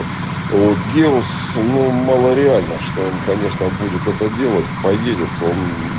вот геос но мало реально что он конечно будет это делать поедет он